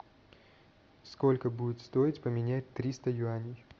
сколько будет стоить поменять триста юаней